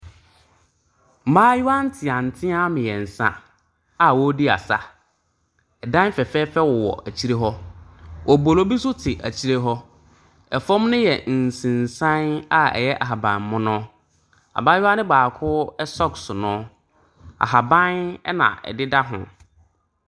Mmaayewa nteantea mmiɛnsa a ɔɔdi asa. Ɛdan fɛfɛɛfɛ wo wɔ akyire hɔ. Obolo bi so te akyire hɔ. Ɛfam no yɛ nsensan a ɛyɛ ahaban mono. Abayaa no baako ɛsɔks no, ahaban ɛna ɛdeda hoo.